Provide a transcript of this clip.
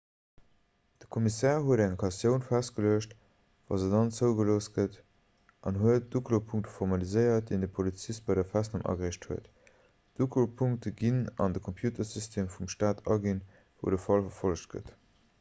de kommissär huet eng kautioun festgeluecht wa se dann zougelooss gëtt an huet d'uklopunkte formaliséiert déi de polizist bei der festnam agereecht huet d'uklopunkte ginn dann an de computersystem vum stat aginn wou de fall verfollegt gëtt